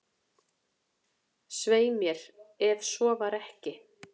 """Svei mér, ef svo var ekki."""